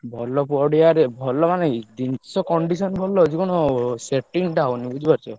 ଭଲ ପଡିଆରେ ଭଲ ମାନେ ଏଇ ଜିନିଷ condition ଭଲ ଅଛି କଣ ଅ setting ଟା ହଉନି ବୁଝିପାରୁଛ।